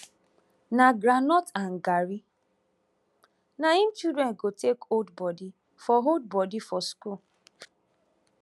na groundnut and garri na im children go take hold body for hold body for school